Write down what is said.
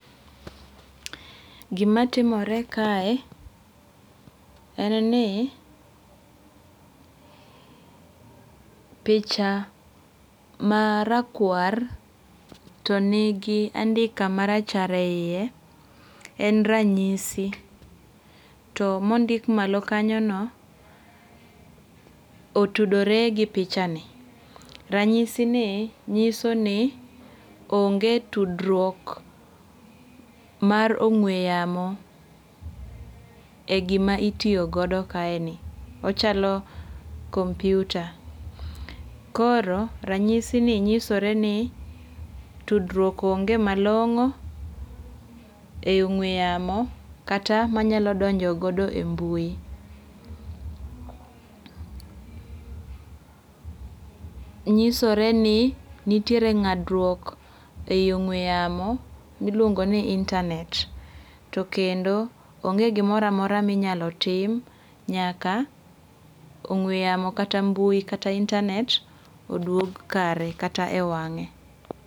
Gima timore kae en ni picha ma rakwar to nigi andika marachar eyie en ranyisi. To mondik malo kanyono otudore gi picha ni. Ranyisi ni nyiso ni onge tudruok mar ong'we yamo e gima itiyogodo kaeni. Onchalo kompyuta. Koro ranyisi ni nyisore ni tudruok onge malong'o e ong'we yamo kata manyalo donjo godo e mbui. Nyisore ni nitiere ng'adruok e yo ong'we yamo miluongo ni internet. To kendo onge gimoro amora minyalo tim nyaka ong'we yamo kata mbui kata internet odwog kare kata e ewang'e.